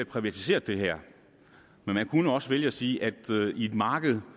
privatiseret det her man kunne også vælge at sige at i et marked